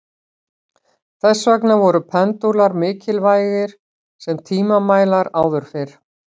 þess vegna voru pendúlar mikilvægir sem tímamælar áður fyrr